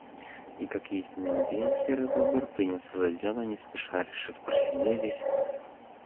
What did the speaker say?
и как истинный индеец серый бобр принялся за дело не спеша решив просидеть здесь